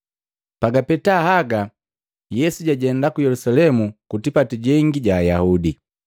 Pagapeta haga Yesu jajenda ku Yelusalemu ku tipati gangi ga Ayaudi.